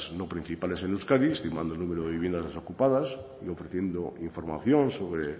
no principales en euskadi estimando el número de viviendas desocupadas y ofreciendo información sobre